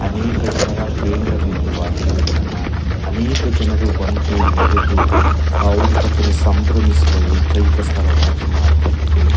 ಅನೇಕ ಜನರ ಕೇಂದ್ರ ಬಿಂದು ವಾಗಿರುವುದನ್ನು ಅನೇಕ ಜನರು ಬಂದು ನೆರೆದು ಆ ಸಂಭ್ರಮಿಸುವ ಏಕೈಕ ಸ್ಥಳವಾಗಿ ಮಾರ್ಪಟ್ಟಿದೆ .